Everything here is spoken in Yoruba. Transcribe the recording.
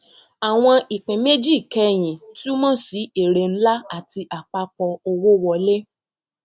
àwọn ìpín méjì kẹyìn túmọ sí èrè ńlá àti apapọ owó wọlé